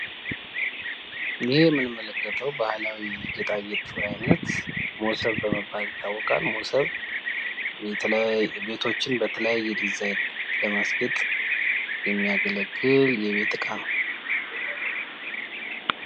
ይህ የምንመለከተው ባህላዊ የጌጣጌጥ አይነት ሞሰብ በመባል ይታወቃል ሞሰብ ቤቶችን በተለያየ ዲዛይን ለማስጌጥ የሚያገለግል የቤት እቃ ነው።